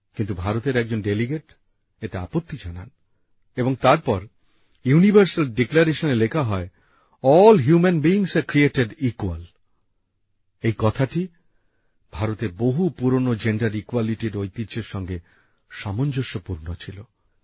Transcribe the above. কিন্তু ভারতের একজন ডেলিগেট এতে আপত্তি জানান এবং তারপর ইউনিভার্সাল ডিক্লারেশনে লেখা হয় all human beings are created equal এই কথাটি ভারতের বহু পুরনো লিঙ্গ সাম্যের ঐতিহ্যর সঙ্গে সামঞ্জস্যপূর্ণ ছিল